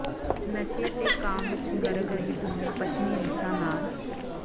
ਨਸ਼ੇ ਤੇ ਕਾਮ ਵਿੱਚ ਗਰਕ ਰਹੀ ਦੁਨੀਆਂ ਪੱਛਮੀ ਰੀਸਾਂ ਨਾਲ